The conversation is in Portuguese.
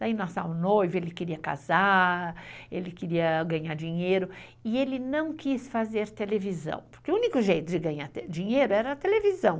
Daí nasceu o noivo, ele queria casar, ele queria ganhar dinheiro, e ele não quis fazer televisão, porque o único jeito de ganhar dinheiro era a televisão.